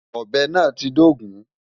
Ọ̀bẹ náà ti dógùn-ún.